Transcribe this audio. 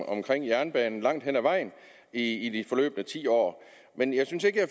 omkring jernbanen langt hen ad vejen i de forløbne ti år men jeg synes ikke at